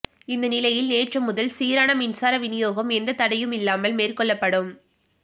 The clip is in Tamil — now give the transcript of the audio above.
இந்த நிலையில் நேற்று முதல் சீரான மின்சார விநியோகம் எந்தத் தடையுமில்லாமல் மேற்கொள்ளப்படும்